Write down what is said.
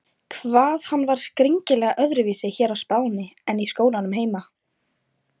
Hvað hann var skringilega öðruvísi hér á Spáni en í skólanum heima!